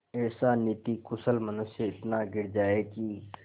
ऐसा नीतिकुशल मनुष्य इतना गिर जाए कि